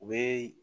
U bɛ